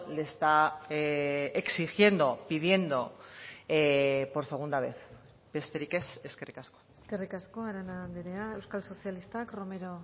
le está exigiendo pidiendo por segunda vez besterik ez eskerrik asko eskerrik asko arana andrea euskal sozialistak romero